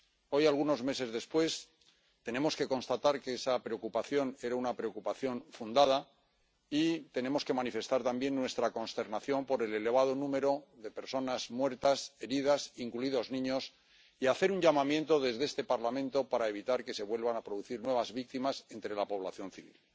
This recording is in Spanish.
Hoy, algunos meses después, tenemos que constatar que esa preocupación era una preocupación fundada y tenemos que manifestar también nuestra consternación por el elevado número de personas muertas y heridas —incluidos niños— y hacer un llamamiento desde este Parlamento para evitar que se vuelvan a producir nuevas víctimas entre la población civil.